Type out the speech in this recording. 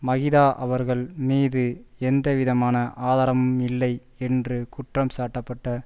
மகிதா அவர்கள் மீது எந்தவிதமான ஆதாரமும் இல்லை என்று குற்றம் சாட்டப்பட்ட